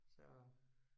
Så